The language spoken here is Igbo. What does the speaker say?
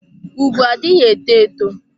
Ùgwù adịghị eto eto.